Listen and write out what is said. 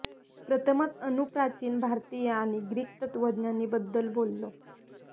प्रथमच अणू प्राचीन भारतीय आणि ग्रीक तत्वज्ञानी बद्दल बोललो